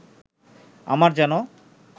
আমার যেন